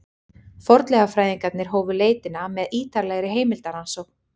Fornleifafræðingarnir hófu leitina með ýtarlegri heimildarannsókn.